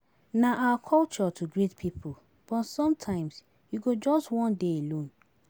Na our culture to greet pipo but sometimes you go just wan dey alone.